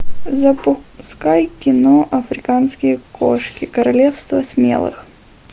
запускай кино африканские кошки королевство смелых